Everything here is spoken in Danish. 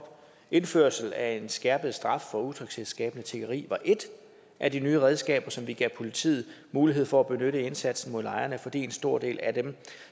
indførelse af en skærpet straf for utryghedsskabende tiggeri var et af de nye redskaber som vi gav politiet mulighed for at benytte i indsatsen mod lejrene fordi en stor del af dem